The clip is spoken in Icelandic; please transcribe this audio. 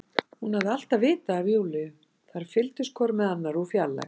Hún alltaf vitað af Júlíu, þær fylgdust hvor með annarri úr fjarlægð.